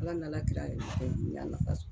Ala ni ala yɛrɛ ɛ n y'a la ka so